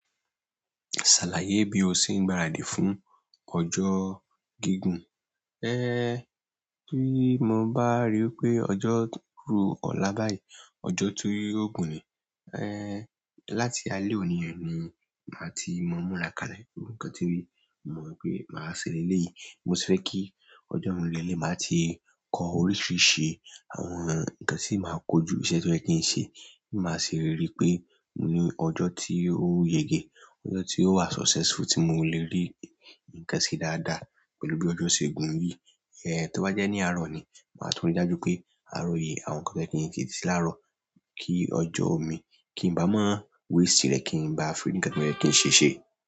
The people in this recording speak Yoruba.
Ṣàlàyé bí o ṣe ń gbaradì fún ọjọ́ gígùn. Ẹ ẹ tí mo bá ríi pé ọjọ́ ku ọ̀la báyìí, ọjọ́ tí ó gùn ni, ẹẹ láti alẹ́ òní ẹni ni màá ti mọ múra kalẹ̀, nǹkan tí mo rí mo mọ̀ pé màá ṣe lélẹ̀ yìí. Mo fẹ́ kí ọjọ́ mi lélẹ̀ máa ti kọ oríṣìíríṣìí ṣe, àwọn nǹkan tí màá kojú iṣẹ́ tí ó jẹ́ kí n ṣe, kí màá ṣe ríi pé òní ọjọ́ tí ó yege, ọjọ́ tí ó wà successful tí mo le rí nǹkan ṣe dáadáa pẹ̀lú bí ọjọ́ ṣe gùn yìí. Tó bá jẹ́ ní àárọ̀ ni, màá tún rí i dájú pé àárọ̀ yìí àwọn nǹkan tó yẹ kí n ti ṣe láàrọ̀ kíì ọjọ omi kí i m̀ bá mọ́ waste rẹ̀ ki m̀ ba fi rí nǹkan tí mo fi ṣe ṣe.